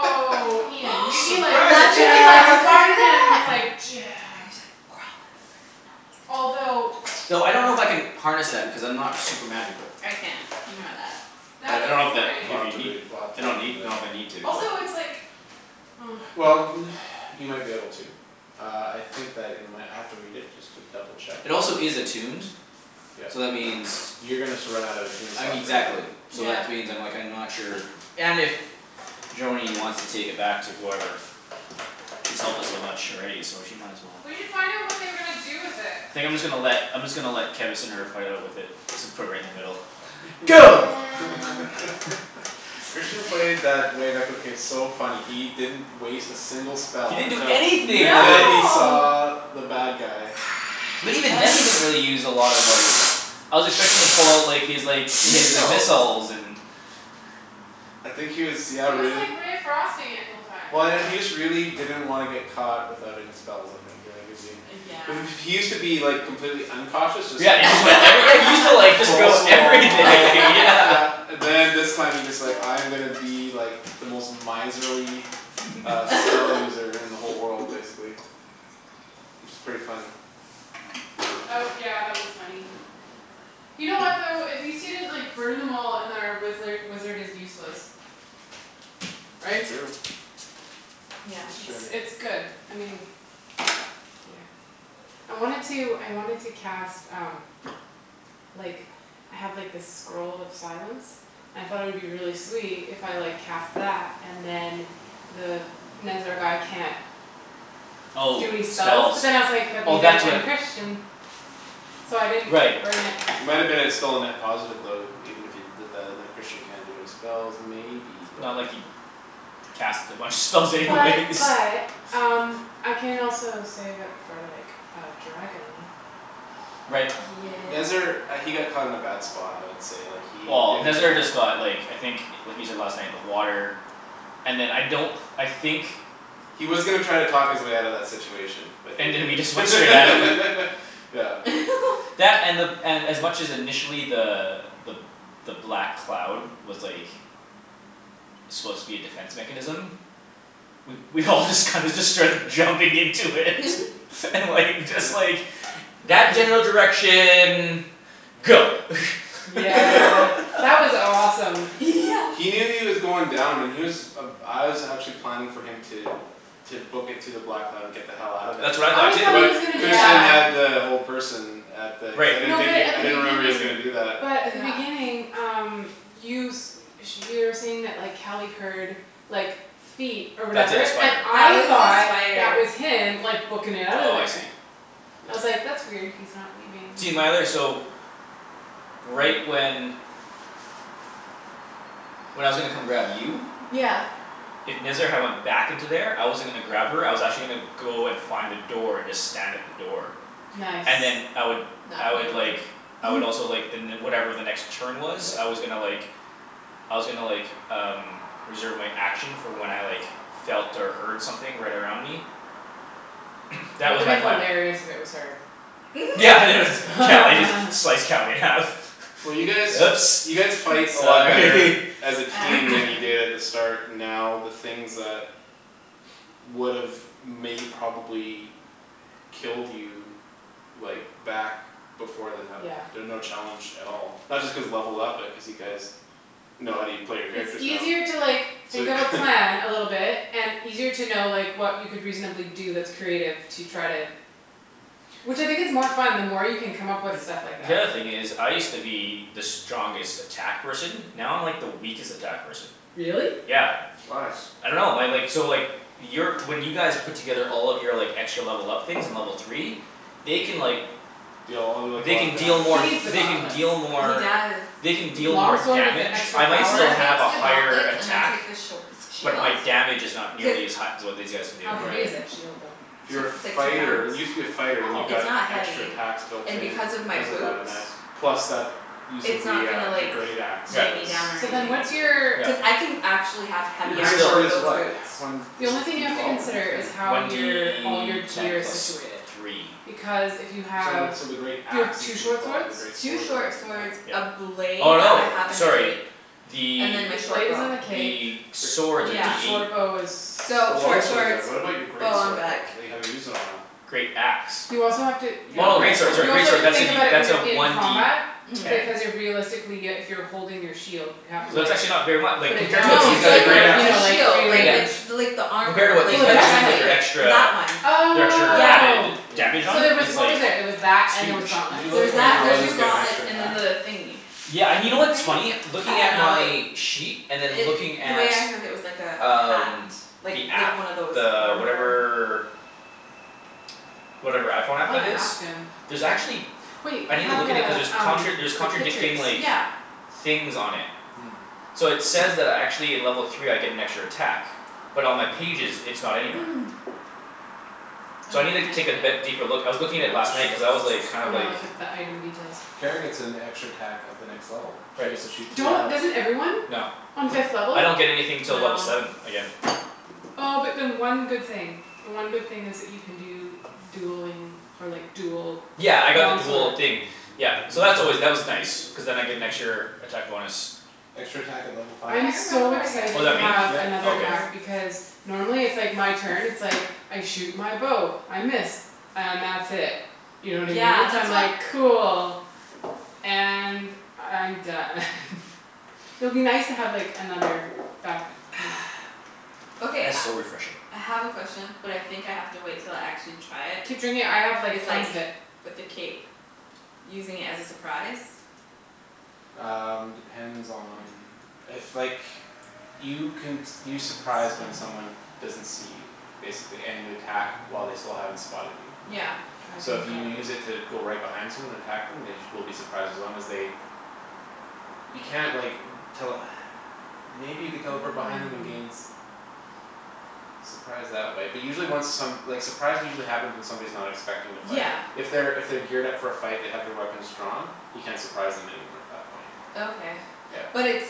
Imagine Ian you'd be if like Surprise I you'd be like could attack. do Spiderman with that like "Jab" I just like crawl up Although and no one else Thought I don't know if wow I can harness that because I'm not super magical. I can't I know that I That's a I don't good know if that We'll point. if have you to need read we'll have to I don't read need know if I from the need to but Also it's like oh Well n- you might be able to Uh I think that in my I might have to read it just to double check uh It also is attuned Yep So that means You're gonna sur- run out of a I mean tombstock pretty exactly clue so that Yeah which means like I'm not sure and if Joany wants to take it back to whoever She's helped us so much already so she might as well We should find out what they were gonna do with it. Think I'm just gonna let I'm just gonna let Kevus and Herb fight out with it. Just put it in the middle And Go Christian Di- played that Wave Echo case so funny. He didn't Waste a single He spell didn't do until anything that Until he day. No saw the bad guy. But even then he didn't really use a lot of like I was expecting him to pull out like his like his Missiles missiles and I think he was yeah He was really like ray of frosting it the whole time. Well I know he just really didn't wanna get caught without any spells I think he was being Uh yeah He used to be like complete uncautious just Yeah like and he like I re- yeah he used to just like go Balls to the wall everything I'll yeah yeah And then this time he's just like I'm gonna be like The most miserly uh spell user in the whole world basically. Which is pretty funny. That w- yeah that was funny. You know what though? At least he didn't like burn them all and then wizzler wizard is useless. Right? True. Yeah That's It's true. it's good. I mean Yeah. I wanted to I wanted to cast um like I have like this scroll of silence I thought it would be really sweet if I like cast that and then The Nezzar guy can't Oh Do any spells. spells. But then I was like, "That Oh means that that's what can Christian" So I didn't Right burn it. It might've been a still a net positive even if you did that like Christian can't do any spells maybe but Not like he'd Cast a bunch of spells anyways But but um I can also save it for like a dragon. Right. Nezzar Yeah uh he got caught in a bad spot I would say like he Well didn't Nezzar have just got like I think what he said last night the water And then I don't I think He was gonna try and talk his way outta that situation But he And then we just went straight at him. didn't Yeah That and the and as much initially the the the black cloud was like Supposed to be a defense mechanism We we all just kinda just started jumping into it and like just like That general direction go Yeah that was awesome. Yeah He knew he was going down and he was Uh I was actually planning for him to To book it to the black and get the hell outta there That's Oh what I thought I too too. thought he was gonna But do Christian Yeah that. had the whole person At the I Right. didn't No but think he at I the didn't he was beginning gonna do that. but But at the yeah beginning um You s- sh- you were saying that like Cali heard like feet Or That the whatever, and spider. That I was a thought spider. that was him like bookin' it outta Oh I see. there. I was Yeah like, "That's weird, he's not leaving." See my other so Right when When I was gonna come grab you Yeah If Nezzar had went back into there I wasn't gonna grab her I was actually gonna Go and find a door and just stand at the door. Nice And then I would I Knock would like me over. I would also like the ne- whatever the next turn was Yeah I was gonna like I was gonnna like um Reserve my action for when I like felt or heard something right Right around me. That That was would've my plan. hilarious if it was her. Yeah it was Cali just slice Cali in half. Well you Oops guys you guys fight a lot sorry better As a team than you did at the start And now the things that Would've may probably Killed you Like back before then have Yeah. been no challenge at all. Not just cause levelled up but cuz you guys Know how u- play your It's characters now easier to like So think of a plan a little bit And easier to know like what you could reasonably do that's creative to try to Which I think it's more fun the more you can come up with stuff like The that. other thing is I used to be the strongest attack person Now I'm like the weakest attack person. Really? Yeah. Why? I dunno my like so like Your when you guys Put together all of your like extra level up things in level three They can like Deal all like a They lot of can deal He more needs damage. the they can gauntlets. deal He more does. They can With the deal long more sword with the damage extra If I he might takes power the still have a higher gauntlets and I attack take the sh- the shield But my damage is not nearly as Cuz hi- as what these guys can do. How heavy is that Right shield though? It's Your it's like two fighter pounds you used to be a fighter and you Oh It's not got extra heavy. attacks Built And in because of my because of that boots and that plus that Using It's not the gonna uh the like great axe Was Yeah. weigh me was down or So a then anything. big what's your Yeah. thing. Cuz I can actually have Your heavy But great armor still swords with is those what? boots. One The is only it thing you D have to twelve or D consider is ten? how One your all your D ten gear is plus situated. three. Because if you So have when so the great you have axe two is D short twelve but swords the great Two sword is only short D swords, ten Yeah. a blade Oh that no, I have in the sorry. cape The And then my The short blade bow. is in the cape. the Gr- swords are D Yeah The eight. short bow is The So long short swords are, swords, but what about your bow great on sword back. though? That you haven't used in a while? Great axe. You also have to You yeah have a Oh great okay. great sword sorry sword. You also great have sword to that's a think D about it when that's a you're in one D combat ten. Mhm. Because you're realistically uh if you're holding your shield You have Hmm to It's not like actually not very mu- like put it compared to down what Well No to the these use it's guys g- the the are like great doing other or now. you axe a know is like shield like Yeah. rearrange. it's bigger. The like the Compared to armor what Oh these like the the guys are doing like breastplate they're chestplate extra That one. The extra Yeah. Oh added Yeah. Damage on So it there was it's what was like there? There was that and there was Huge. Did gauntlets, you There look was at when and that there the was paladins two get an gauntlets extra and then attack? the thingy Yeah A and you know what what's thing? funny? I Looking don't at know my Sheet and then looking It the at way I heard it was like a hat. Um Like the like app one of those the armor whatever Whatever iPhone I app wanna that is? ask him There's actually Wait I I needa have look at the it cuz there's um contra- there's the pictures. contradicting like Yeah Things on it. Hmm So it says that I actually in level three I get an extra attack. But on my pages it's not anywhere. So No I no needa I take can't be- yeah. deeper look. I was looking at it last night cuz I was like kind I of wanna like look at the item details. Kara gets an extra attack at the next level. She Right. gets to shoot two Don't arrows. doesn't everyone? No. On fifth level? I don't get anything till No level seven again. Oh but then one good thing. The one good thing is that you can do dueling or like dual Yeah I got the long sword dual thing Yeah so that's always that was nice. Cuz then I get an extra attack bonus. Extra attack at level I five. I'm remember so what I get Oh excited is to that me? have Yep Oh another okay. attack For because Normally it's like my turn it's like I shoot my bow, I miss. And that's it. You know what I Yeah mean? So I'm that's what like cool. And I'm done It'll be nice to have like another back up you know Okay That is I so refreshing. I have a question but I think I have to wait until I actually try it Keep drinking I have Is like like tons of it. with the cape Using it as a surprise? Um depends on if like You can s- you surprise when someone Small doesn't see you Basically, and you attack while they still haven't spotted you. Yeah So Dragon if you guard use it to go right behind someone and attack them they sh- will be surprised as long as they You can't like tell Maybe you could teleport behind them and gain s- Surprise that way but usually when some like surprise usually happens when someone's not expecting to fight. Yeah If they're if they're geared up for a fight they have their weapons drawn You can't surprise them anymore at that point. Okay Yeah but it's